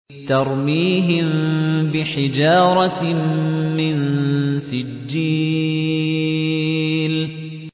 تَرْمِيهِم بِحِجَارَةٍ مِّن سِجِّيلٍ